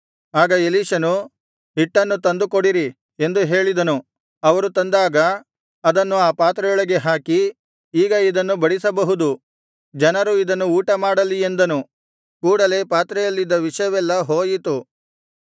ಆಗ ಎಲೀಷನು ಹಿಟ್ಟನ್ನು ತಂದು ಕೊಡಿರಿ ಎಂದು ಹೇಳಿದನು ಅವರು ತಂದಾಗ ಅದನ್ನು ಆ ಪಾತ್ರೆಯೊಳಗೆ ಹಾಕಿ ಈಗ ಇದನ್ನು ಬಡಿಸಬಹುದು ಜನರು ಇದನ್ನು ಊಟಮಾಡಲಿ ಎಂದನು ಕೂಡಲೇ ಪಾತ್ರೆಯಲ್ಲಿದ್ದ ವಿಷವೆಲ್ಲಾ ಹೋಯಿತು